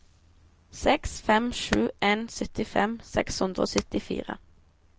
seks fem sju en syttifem seks hundre og syttifire